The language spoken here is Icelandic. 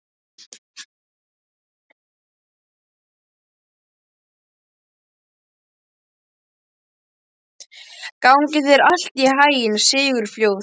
Gangi þér allt í haginn, Sigurfljóð.